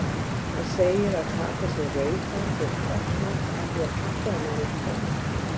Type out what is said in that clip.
Hann segir að Kata sé rauðhærð og freknótt af því að pabbi hennar er kommi.